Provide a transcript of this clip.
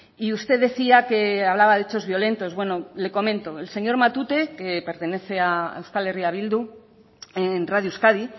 y usted decía que hablaba de hechos violentos bueno le comento el señor matute que pertenece a euskal herria bildu en radio euskadi